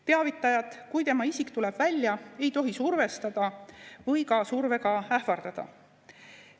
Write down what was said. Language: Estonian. Teavitajat, kui tema isik tuleb välja, ei tohi survestada või ka survega ähvardada.